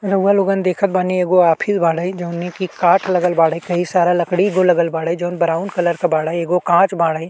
रउवा लोगन देखत बानी एगो आफ़ी बाड़ै जौने की काठ लगल बाड़ै। कई सारा लकड़ी गो लगल बाड़ै जौन ब्राउन कलर के बाड़ै। एगो काँच बाड़ै।